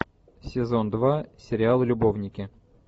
сезон два сериал любовники